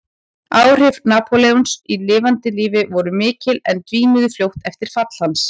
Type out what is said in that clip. Áhrif Napóleons í lifanda lífi voru mikil en dvínuðu fljótt eftir fall hans.